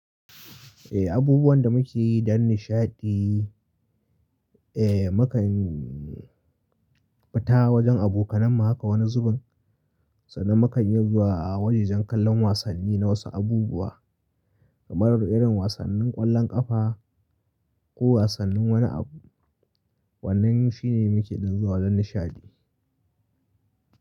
Eh, abubuwan da muke yi don nishaɗi, mukan fita wajen abokanan mu haka wani zubin, sannan mukan iya zuwa wajajen kallon wasanni na wasu abubuwa kamar irin wasannin ƙwallon ƙafa ko wasannin wani abu. Wannan shine muke dan zuwa don nishaɗi.